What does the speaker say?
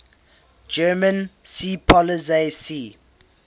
german seepolizei sea